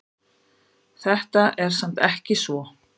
Það er samt ekki svo.